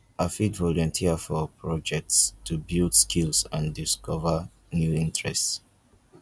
i fit volunteer for projects to build skills and discover new interests